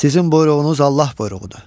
Sizin buyruğunuz Allah buyruğudur.